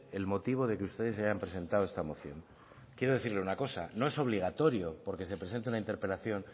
el motivo de que ustedes hayan presentado esta moción quiero decirle una cosa no es obligatorio porque se presente una interpelación